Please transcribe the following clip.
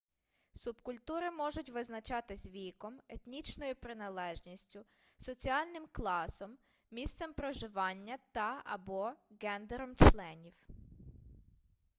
субкультури можуть визначатись віком етнічною приналежністю соціальним класом місцем проживання та/або ґендером членів